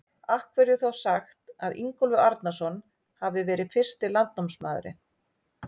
Af hverju er þá sagt að Ingólfur Arnarson hafi verið fyrsti landnámsmaðurinn?